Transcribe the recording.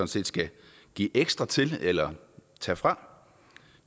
set skal give ekstra til eller tage fra